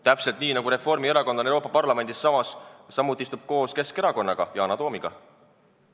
Täpselt nii, nagu Reformierakond Euroopa Parlamendis samuti istub koos Keskerakonnaga, Yana Toomiga.